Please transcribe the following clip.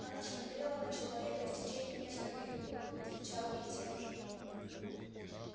она смотрела на человека и в течение нескольких минутой отвечал ей тем же